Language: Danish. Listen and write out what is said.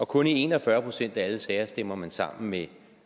kun en og fyrre procent af alle sager stemmer man sammen med